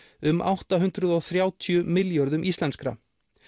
um átta hundruð og þrjátíu milljörðum íslenskra